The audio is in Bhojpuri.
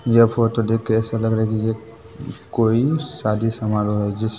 यह फोटो देख के ऐसा लग रहा है की ये कोई शादी समारोह है जिसमे--